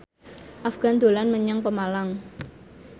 Afgan dolan menyang Pemalang